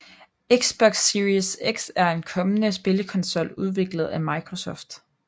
Xbox Series X er en kommende spillekonsol udviklet af Microsoft